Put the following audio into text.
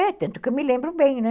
É, tanto que eu me lembro bem, né?